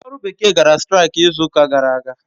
Ndị ọrụ bekee gara straik izuụka gara aga.